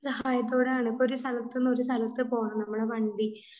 സഹായത്തോടെയാണ്. ഇപ്പോ ഒരു സ്ഥലത്തുനിന്ന് ഒരു സ്ഥലത്തു പോണം, നമ്മുടെ വണ്ടി